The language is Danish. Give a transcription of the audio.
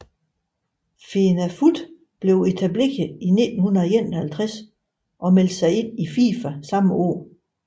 FENAFUTH blev etableret i 1951 og meldte sig ind i FIFA samme år